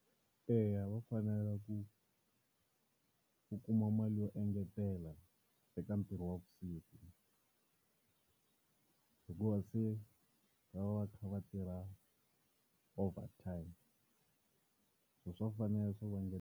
Eya va fanele ku u kuma mali yo engetelela eka ntirho wa vusiku hikuva se va va kha va tirha over time. So swa fanele swa ku va .